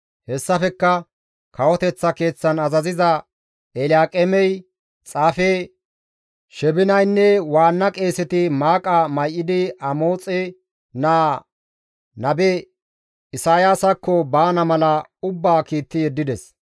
Hessafekka kawoteththa keeththan azaziza Elyaaqeemey, xaafe Sheebinaynne waanna qeeseti maaqa may7idi Amoxe naa nabe Isayaasakko baana mala ubbaa kiitti yeddides.